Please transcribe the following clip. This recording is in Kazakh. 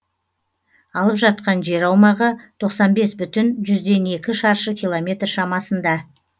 алып жатқан жер аумағы тоқсан бес бүтін жүзден екі шаршы километр шамасында